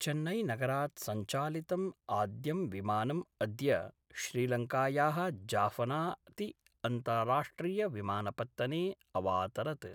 चेन्नैनगरात् सञ्चालितम् आद्यं विमानम् अद्य श्रीलङ्कायाः जाफना ति अन्ताराष्ट्रिय विमानपत्तने अवातरत्।